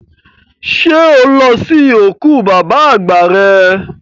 Ṣẹ́ o lọ sí òkú bàbá àgbà rẹ?